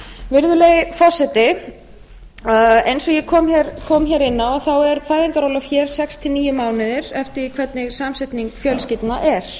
virðulegi forseti eins og ég kom hér inn á er fæðingarorlof hér sextíu og níu mánuðir eftir því hvernig samsetning fjölskyldna er